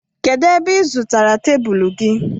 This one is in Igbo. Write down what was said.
kedu ebe ị zụtara tebụl gị?